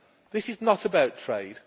This is not about trade.